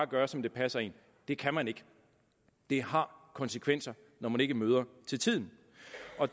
gøre som det passer en det kan man ikke det har konsekvenser når man ikke møder til tiden